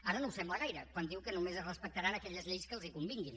ara no ho sembla gaire quan diu que només es respectaran aquelles lleis que els convinguin